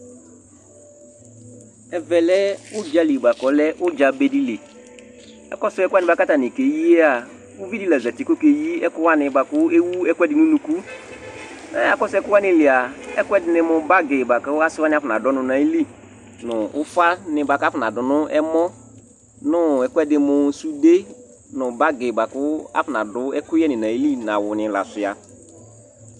Ɛvɛ lɛ ʋdza li bʋa kʋ ʋdza be dɩ li Akɔsʋ ɛkʋ wanɩ kʋ atanɩ keyi a, uvi dɩ la zati kʋ ɔkeyi ɛkʋ wanɩ bʋa kʋ ewu ɛkʋɛdɩ nʋ unuku Mɛ akɔsʋ ɛkʋ wanɩ li a, ɛkʋɛdɩnɩ mʋ bagɩ bʋa kʋ asɩ wanɩ afɔnadʋ ɔnʋ nʋ ayili nʋ ʋfanɩ bʋa kʋ afɔnadʋ nʋ ɛm ɔnʋ ɛkʋɛdɩ mʋ sude nʋ bagɩ bʋa kʋ afɔnadʋ ɛkʋyɛnɩ nʋ ayili nʋ awʋnɩ la sʋɩa